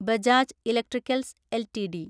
Bajaj electricals LTD